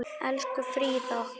Elsku Fríða okkar.